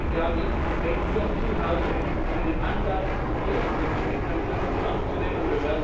Darum glaube ich, wir haben jetzt konkret zu Hause einen Anlass, hier unsere Zusagen wirklich ernst zu nehmen.